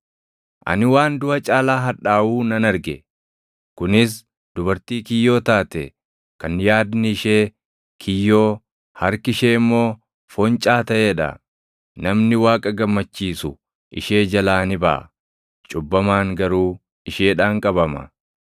Ani waan duʼa caalaa hadhaaʼuu nan arge; kunis: dubartii kiyyoo taate, kan yaadni ishee kiyyoo, harki ishee immoo foncaa taʼee dha. Namni Waaqa gammachiisu ishee jalaa ni baʼa; cubbamaan garuu isheedhaan qabama.